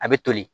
A bɛ toli